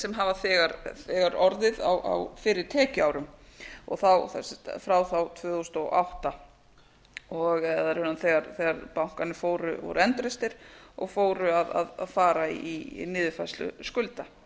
sem hafa þegar orðið á fyrri tekjuárum og frá þá tvö þúsund og átta eða raunar þegar bankarnir voru endurreistir og fóru að fara í niðurfærslu skulda